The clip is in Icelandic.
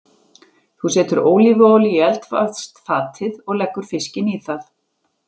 Þú setur ólífuolíu í eldfast fatið og leggur fiskinn í það.